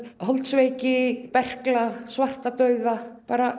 holdsveiki berkla svartadauða